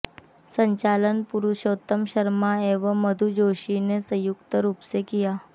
संचालन पुरुषोत्तम शर्मा एवं मधु जोशी ने संयुक्त रूप से किया